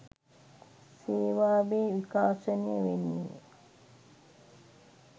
සේවාවේ විකාශනය වෙන්නේ